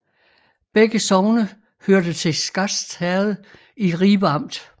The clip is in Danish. Begge sogne hørte til Skast Herred i Ribe Amt